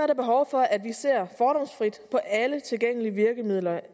der behov for at vi ser fordomsfrit på alle tilgængelige virkemidler